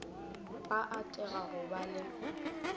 ba atiša go ba le